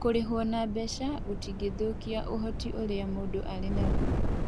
Kũrĩhwo na mbeca kũtingĩthũkia ũhoti ũrĩa mũndũ arĩ naguo.